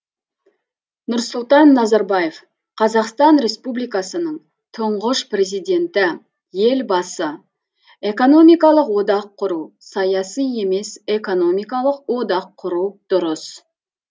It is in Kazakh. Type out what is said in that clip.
нұрсұлтан назарбаев қазақстан республикасының тұңғыш президенті елбасы экономикалық одақ құру саяси емес экономикалық одақ құру дұрыс